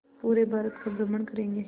पूरे भारत का भ्रमण करेंगे